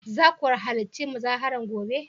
za ku halarci muzaharar gobe?